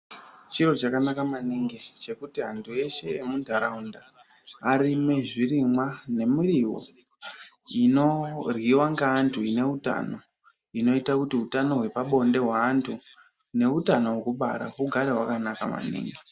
Chiro chakanaka maningi chekuti antu eshe emundaraunda arime zvirimwa nemuriwo inoryirwa ngeantu inoutano inoita kuti utano hwepabonde hwevanhu neutano wekubara ugare wakanaka maningi .